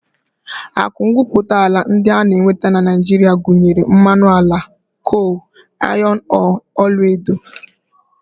Akụ ngwuputaala ndị a na-enweta na Naijiria gụnyere mmanụ ala, kol, ayọn ọọọ, ọlaedo